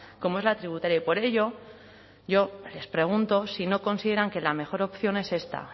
como es la tributaria y por ello yo les pregunto si no consideran que la mejor opción es esta